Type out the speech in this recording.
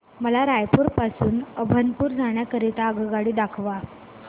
मला रायपुर पासून अभनपुर जाण्या करीता आगगाडी दाखवा